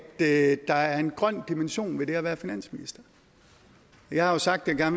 at der er en grøn dimension ved det at være finansminister jeg har jo sagt at jeg